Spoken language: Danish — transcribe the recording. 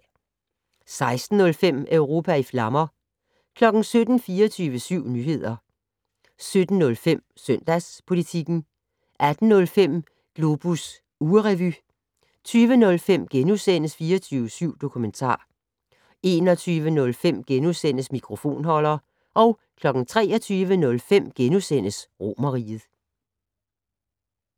16:05: Europa i flammer 17:00: 24syv Nyheder 17:05: Søndagspolitikken 18:05: Globus ugerevy 20:05: 24syv Dokumentar * 21:05: Mikrofonholder * 23:05: Romerriget *